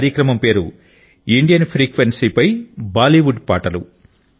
ఈ కార్యక్రమం పేరు ఇండియన్ ఫ్రెక్వెన్సీపై బాలీవుడ్ పాటలు